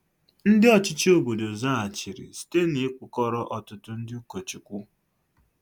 Ndị ọchịchị obodo zaghachiri site n'ịkpụkọrọ ọtụtụ ndị ụkọchukwu.